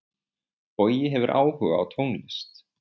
Bogi hefur áhuga á tónlist.